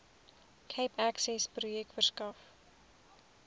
cape accessprojek verskaf